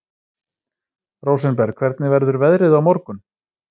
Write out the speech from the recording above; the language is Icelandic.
Rósenberg, hvernig verður veðrið á morgun?